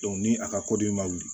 ni a ka kɔdi ma wuli